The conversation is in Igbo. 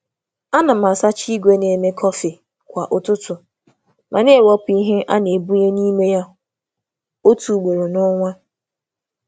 A na m asacha igwe na-eme kọfị kwa ụtụtụ, ma na-ewepụ ihe na-ebunye n'ime ya ugboro otu n’ọnwa.